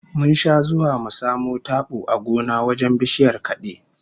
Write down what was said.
Mun sha zuwa mu samo tabo a gona wajen bishiyar kade